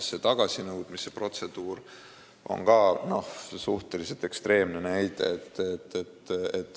See tagasinõudmise protseduur on ka suhteliselt ekstreemne näide.